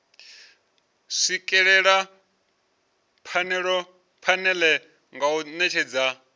swikelela phanele nga u netshedza